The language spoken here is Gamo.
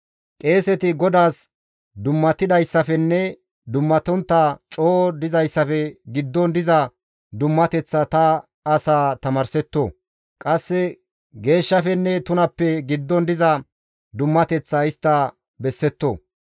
« ‹Qeeseti GODAAS dummatidayssafenne dummatontta coo dizayssafe giddon diza dummateththa ta asa tamaarsetto. Qasse geeshshafenne tunappe giddon diza dummateththa istta bessetto.